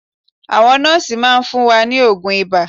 Àwọn nọ́ọ́sì máa fún wa ní oògùn ibà